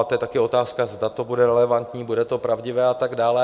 A to je taky otázka, zda to bude relevantní, bude to pravdivé a tak dále.